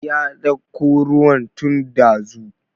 Ya dauko ruwan tun ɗazu